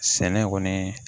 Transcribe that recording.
Sɛnɛ kɔni